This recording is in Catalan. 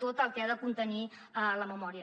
tot el que ha de contenir la memòria